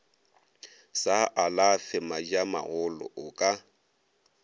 sa alafe madiamagolo o ka